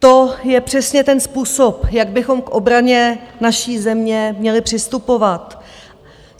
To je přesně ten způsob, jak bychom k obraně naší země měli přistupovat.